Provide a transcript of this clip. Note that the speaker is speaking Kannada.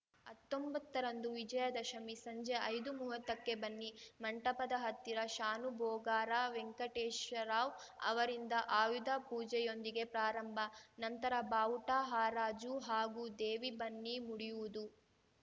ಹತ್ತೊಂಬತ್ತರಂದು ವಿಜಯ ದಶಮಿ ಸಂಜೆ ಐದುಮುವತ್ತಕ್ಕೆ ಬನ್ನಿ ಮಂಟಪದ ಹತ್ತಿರ ಶಾನುಬೋಗರ ವೆಂಕಟೇಶರಾವ್‌ ಅವರಿಂದ ಆಯುಧ ಪೂಜೆಯೊಂದಿಗೆ ಪ್ರಾರಂಭ ನಂತರ ಬಾವುಟ ಹರಾಜು ಹಾಗೂ ದೇವಿ ಬನ್ನಿ ಮುಡಿಯುವುದು